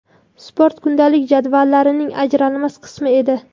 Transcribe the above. Sport kundalik jadvallarining ajralmas qismi edi.